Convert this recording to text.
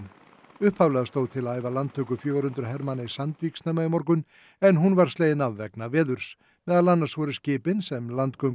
upphaflega stóð til að æfa landtöku fjögur hundruð hermanna í Sandvík snemma í morgun en hún var slegin af vegna veðurs meðal annars voru skipin sem